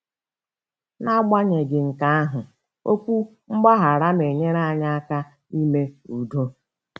N'agbanyeghị nke ahụ, okwu mgbaghara na-enyere anyị aka ime udo.